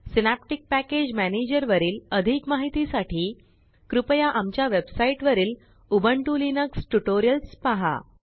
synaptic package manager वरील अधिक माहितीसाठी कृपया आमच्या वेबसाइट वरील उबुंटू Linuxट्यूटोरियल पहा